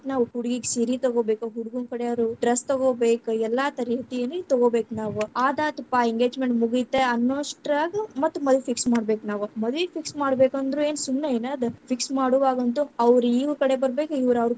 ನಾವ್‌ ಹುಡುಗಿಗ ಸೀರೆ ತಗೋಬೇಕ್, ಹುಡುಗುನ್ ಕಡೆಯವರ್‌ dress ತಗೋಬೇಕ್, ಎಲ್ಲಾ ತರಾತರೀತಿಯಲ್ಲಿ ತಗೋಬೇಕ ನಾವ್‌, ಆದಾತಪ್ಪಾ engagement ಮುಗೀತ ಅನ್ನೋ ಅಷ್ಟರಾಗ ಮತ್ತ ಮದವಿ fix ಮಾಡ್ಬೇಕ ನಾವ್., ಮದವಿ lang:Foreign fix ಮಾಡ್ಬೇಕಂದ್ರ ಏನ್‌ ಸುಮ್ಮನೆ ಏನ್‌ ಅದ್‌ fix ಮಾಡುವಂತವಾಗಂತೂ ಅವ್ರ ಇವ್ರ ಕಡೆ ಬರಬೇಕ, ಇವ್ರ ಅವ್ರ ಕಡೆ.